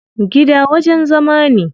Gida wajen zama ne.